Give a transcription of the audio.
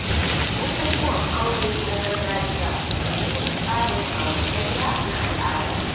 Bukukuwan aure na gargajiya suna nuna tsarin auratayya na al’ada.